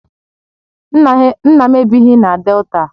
Nna m ebighị na Delta